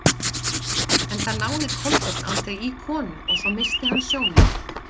Enda náði Kolbeinn aldrei í konu og svo missti hann sjónina.